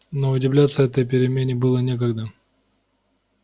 но удивляться этой перемене было некогда